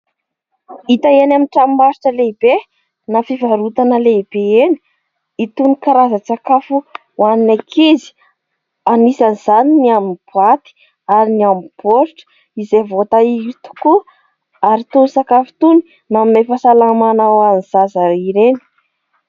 Hita eny amin' ny tranombarotra lehibe na fivarotana lehibe eny ny itony karazan-tsakafo ho an' ny ankizy. Anisany izany ny amin' ny boaty ary ny amin' ny baoritra izay vaoatahiry tokoa ary itony sakafo itony manome fahasalamana ho an' ny zaza ireny.